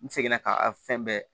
N seginna ka fɛn bɛɛ